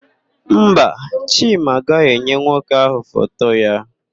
Mba, Chima agaghị enye nwoke ahụ foto ya.